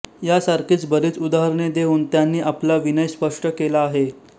या सारखीच बरीच उदाहरणे देऊन त्यांनी आपला विनय स्पष्ट केला आहे